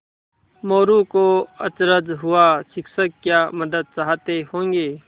मोरू को अचरज हुआ शिक्षक क्या मदद चाहते होंगे